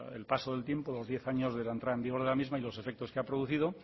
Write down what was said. el paso del tiempo los diez años de la entrada en vigor de la misma y los efectos que ha producido